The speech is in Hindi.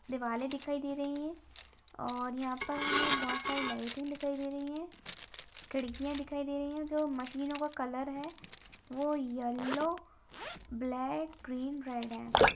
दीवाले दिखाई दे रही हैं और यहाँ पर हमें बोहोत सारी लाइटें दिखाई दे रही हैं। खिड़कियाॅं दिखाई दे रही हैं। जो मशीनों का कलर है वो येलो ब्लैक ग्रीन रेड है।